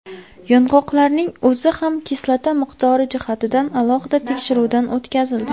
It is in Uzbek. Yong‘oqlarning o‘zi ham kislota miqdori jihatidan alohida tekshiruvdan o‘tkazildi.